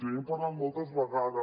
i hem parlat moltes vegades